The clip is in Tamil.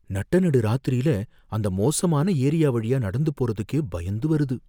நட்ட நடுராத்திரில அந்த மோசமான ஏரியா வழியா நடந்து போறதுக்கே பயந்து வருது